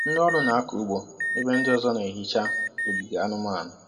Ndị ọrụ na-akọ ụgbọ ebe ndị ọzọ na-ehicha ogige anụmanụ.